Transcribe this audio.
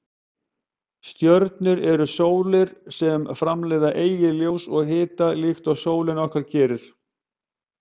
Stjörnur eru sólir sem framleiða eigið ljós og hita líkt og sólin okkar gerir.